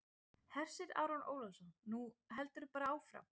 Hersir Aron Ólafsson: Nú heldurðu bara áfram?